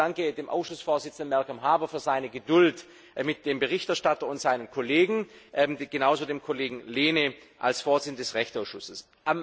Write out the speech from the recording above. Ich danke dem Ausschussvorsitzenden Malcolm Harbour für seine Geduld mit dem Berichterstatter und seinen Kollegen, genauso dem Kollegen Lehne als Vorsitzendem des Rechtsausschusses.